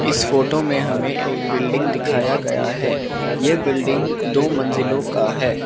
इस फोटो में हमें एक बिल्डिंग दिखाया गया है यह बिल्डिंग दो मंजिलों का है।